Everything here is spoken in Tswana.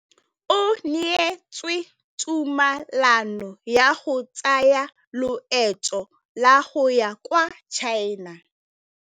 O neetswe tumalanô ya go tsaya loetô la go ya kwa China.